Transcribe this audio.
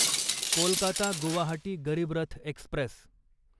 Kolkata Guwahati Garib Rath Express